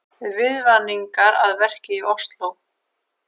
Viðvaningar að verki í Ósló